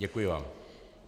Děkuji vám.